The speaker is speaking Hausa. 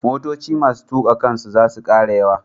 Motoci masu tuƙa kansu za su ƙara yawa.